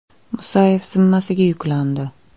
Musayev zimmasiga yuklandi.